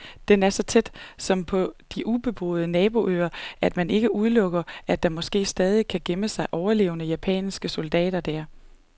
Den er så tæt, som på de ubeboede naboøer, at man ikke udelukker, at der måske stadig kan gemme sig overlevende japanske soldater der.